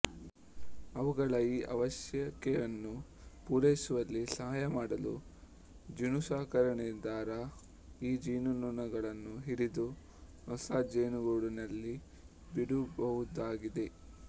ಅವುಗಳ ಈ ಅವಶ್ಯಕೆಯನ್ನು ಪೂರೈಸುವಲ್ಲಿ ಸಹಾಯಮಾಡಲು ಜೇನುಸಾಕಣೆದಾರ ಈ ಜೇನುನೊಣಗಳನ್ನು ಹಿಡಿದು ಹೊಸಾ ಜೇನುಗೂಡಿನಲ್ಲಿ ಬಿಡಬಹುದಾಗಿದೆ